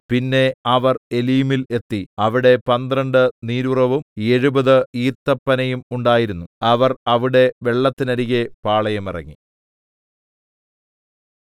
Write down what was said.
പിന്നെ അവർ ഏലീമിൽ എത്തി അവിടെ പന്ത്രണ്ട് നീരുറവും എഴുപത് ഈത്തപ്പനയും ഉണ്ടായിരുന്നു അവർ അവിടെ വെള്ളത്തിനരികെ പാളയമിറങ്ങി